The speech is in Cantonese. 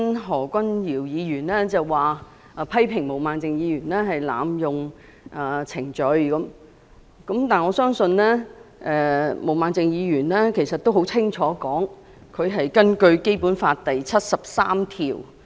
何君堯議員剛才批評毛孟靜議員濫用程序，但毛孟靜議員已清楚說明，她根據《基本法》第七十三條動議議案。